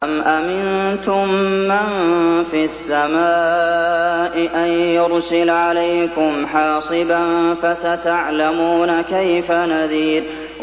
أَمْ أَمِنتُم مَّن فِي السَّمَاءِ أَن يُرْسِلَ عَلَيْكُمْ حَاصِبًا ۖ فَسَتَعْلَمُونَ كَيْفَ نَذِيرِ